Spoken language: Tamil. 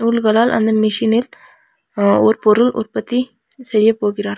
நூல்களால் அந்த மிஷினில் அ ஒரு பொருள் உற்பத்தி செய்யப் போகிறார்கள்.